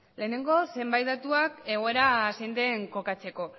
lehenengo zenbait datu egoera zein den kokatzeko